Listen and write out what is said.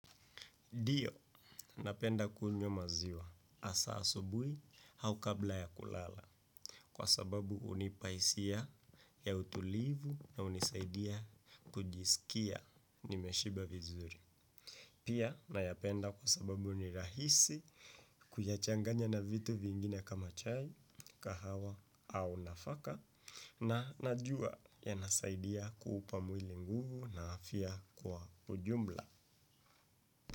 Ndio, napenda kuunyo maziwa asa asubui au kabla ya kulala kwa sababu unipaisia ya utulivu na unisaidia kujisikia nimeshiba vizuri. Pia, nayapenda kwa sababu unirahisi kuyachanganya na vitu vingine kama chai, kahawa au nafaka na najua yanasaidia kuupa mwili nguvu na afia kwa ujumla.